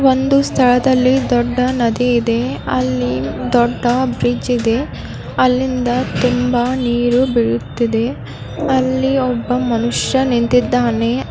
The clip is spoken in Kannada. ಒಂದು ಸ್ಥಳದ ಇಲ್ಲಿ ದೊಡ್ಡದಿದೆ ಅಲ್ಲಿ ದೊಡ್ಡ ಬ್ರಿಜ್ ಇದೆ ಅಲ್ಲಿಂದ ತುಂಬಾ ನೀರು ಬೀಳುತ್ತಿದೆ ಅಲ್ಲಿ ಒಬ್ಬ ಮನುಷ್ಯ ನಿಂತಿದ್ದಾನೆ.